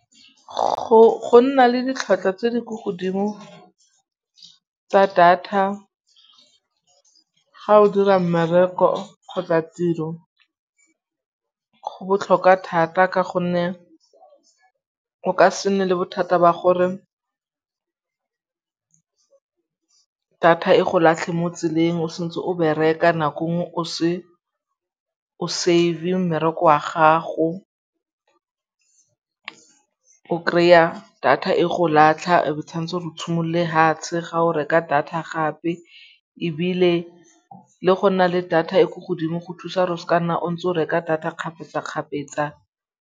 Go nna le ditlhwatlhwa tse di ko godimo tsa data ga o dira mmereko kgotsa tiro go botlhokwa thata ka gonne o ka se nne le bothata ba gore data e go latlhe mo tseleng o santse o bereka nako nngwe o se o save-e mmereko wa gago. O kry-a data e go latlha e be tshwanetse o tshimolle fatshe ga o reka data gape ebile le go nna le data e ko godimo go thusa gore seka nna o ntse o reka data kgapetsa-kgapetsa.